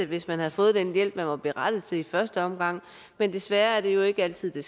hvis man havde fået den hjælp man var berettiget til i første omgang men desværre er det jo ikke altid det